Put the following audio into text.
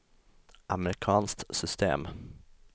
amerikanskt system